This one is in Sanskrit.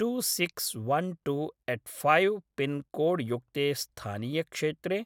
two six one two eight five pin code युक्ते स्थानीयक्षेत्रे